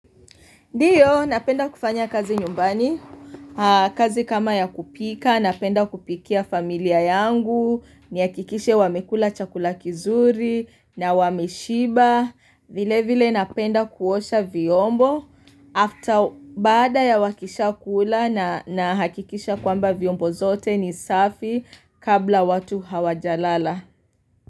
Ndio, napenda kufanya kazi nyumbani, kazi kama ya kupika, napenda kupikia familia yangu, nihakikishe wamekula chakula kizuri, na wame shiba, vile vile napenda kuosha viombo, after bada ya wakisha kula na hakikisha kwamba viombo zote ni safi kabla watu hawajalala.